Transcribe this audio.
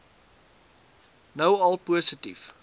nou al positief